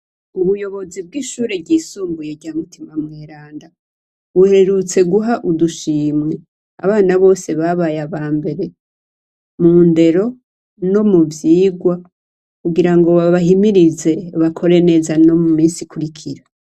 Ubuyobozi bw'ishure ryisumbuye rya mutima mweranda uhererutse guha udushimwe abana bose babaye aba mbere mu ndero no mu vyigwa kugira ngo babahimirize bakore neza no mu misi ikurikira.